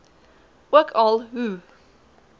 ook al hoe